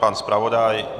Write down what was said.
Pan zpravodaj?